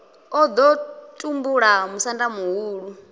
o ḓo tumbula musanda muhulu